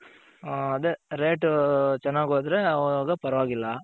ಹ್ಮ್ ಅದೆ rate ಚೆನ್ನಾಗ್ ಹೋದ್ರೆ ಅವಾಗ ಪರವಾಗಿಲ್ಲ.